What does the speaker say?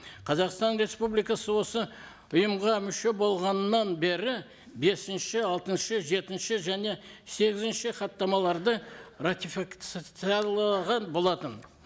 қазақстан республикасы осы ұйымға мүше болғанынан бері бесінші алтыншы жетінші және сегізінші хаттамаларды болатын